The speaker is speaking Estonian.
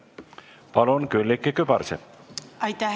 Palun, Külliki Kübarsepp!